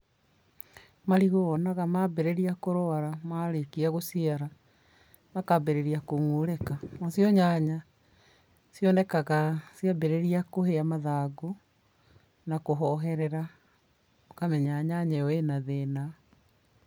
Marigũ wonaga mambĩrĩria kũrwara marĩkia gũciara makambĩrĩria kũngũrĩka nacio nyanya cionekaga ciambĩrĩrĩa kũhĩa mathangũ na kũhoherera ũkamenya nyanya ĩyo ĩna thĩna.